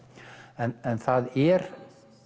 það er